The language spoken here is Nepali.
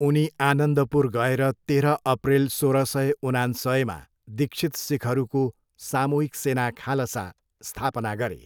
उनी आनन्दपुर गएर तेह्र अप्रेल, सोह्र सय उनान्सयमा दीक्षित सिखहरूको सामूहिक सेना खालसा स्थापना गरे।